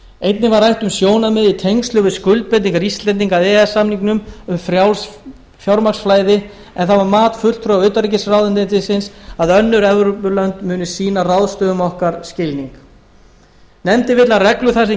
einnig var rætt um sjónarmið í tengslum við skuldbindingar íslendinga að e e s samningnum um frjálst fjármagnsflæði en það var mat fulltrúa utanríkisráðuneytisins að önnur evrópulönd muni sýna ráðstöfunum okkar skilning nefndin vill að reglur þær sem getið er